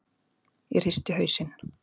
Ég hristi hausinn.